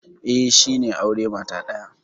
Eh, shi ne aure mata daya.